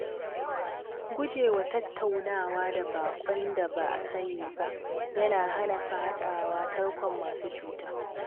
Gujewa tattaunawa da baƙon da ba a sani ba yana hana fadawa tarkon masu cuta.